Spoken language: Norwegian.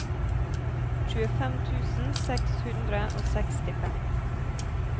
tjuefem tusen seks hundre og sekstifem